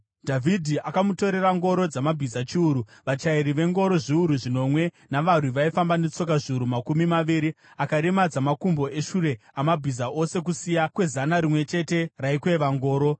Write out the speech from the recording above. Dhavhidhi akamutorera ngoro dzamabhiza chiuru, vachairi vengoro zviuru zvinomwe navarwi vaifamba netsoka zviuru makumi maviri. Akaremadza makumbo eshure amabhiza ose kusiya kwezana rimwe chete raikweva ngoro.